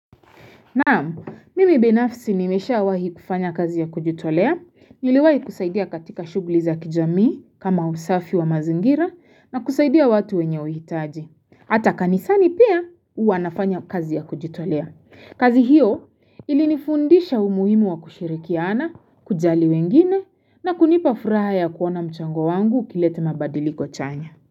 Naam mimi binafsi nimesha wahi kufanya kazi ya kujitolea, niliwahi kusaidia katika shughli za kijamii kama usafi wa mazingira na kusaidia watu wenye uhitaji. Hata kanisani pia uwanafanya kazi ya kujitolea. Kazi hiyo ilinifundisha umuhimu wa kushirikiana, kujali wengine na kunipa furaha ya kuona mchango wangu ikilete mabadiliko chanya.